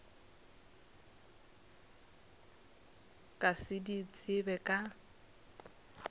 ka se di tsebe ka